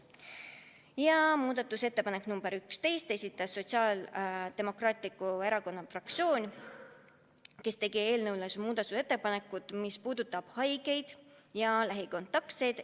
Ja muudatusettepanek nr 11, esitas Sotsiaaldemokraatliku Erakonna fraktsioon, kes tegi ettepaneku, mis puudutab haigeid ja lähikontaktseid.